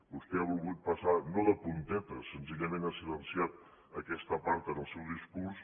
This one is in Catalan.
vostè ha volgut passar no de puntetes senzillament ha silenciat aquesta part en el seu discurs